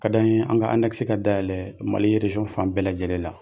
Kad'an ye an ka ka dayɛlɛɛ Mali fan bɛɛ lajɛlen la.